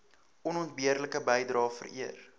onontbeerlike bydrae vereer